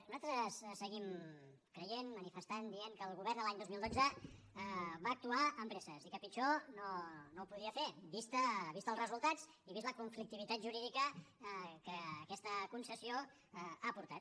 nosaltres seguim creient manifestant dient que el govern l’any dos mil dotze va actuar amb presses i que pitjor no ho podia fer vistos els resultats i vista la conflictivitat jurídica que aquesta concessió ha portat